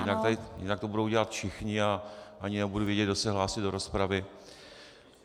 Jinak to budou dělat všichni a ani nebude vidět, kdo se hlásí do rozpravy.